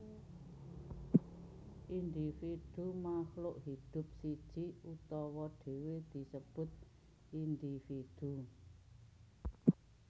Individu Makhluk hidup siji utawa dhewe disebut individu